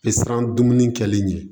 Pesan dumuni kɛli ɲɛ